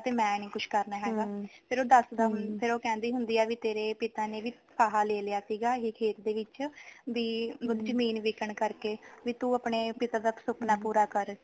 ਤੇ ਮੈਂ ਨੀ ਕੁੱਝ ਕਰਨਾ ਹੈਗਾ ਫ਼ਿਰ ਉਹ ਦਸਦਾ ਫ਼ਿਰ ਉਹ ਕਹਿੰਦੀ ਹੁੰਦੀ ਆ ਵੀ ਤੇਰੇ ਪਿਤਾ ਨੇ ਵੀ ਫ਼ਾਹਾ ਲੈ ਲਿਆ ਸੀਗਾ ਇਹ ਹੇ ਖੇਤ ਦੇ ਵਿਚ ਵੀ ਜ਼ਮੀਨ ਵਿੱਕਣ ਕਰ ਕੇ ਵੀ ਤੂੰ ਆਪਣੇ ਪਿਤਾ ਦਾ ਸੁਪਨਾ ਪੂਰਾ ਕਰ